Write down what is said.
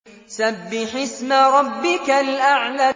سَبِّحِ اسْمَ رَبِّكَ الْأَعْلَى